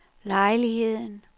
lejligheden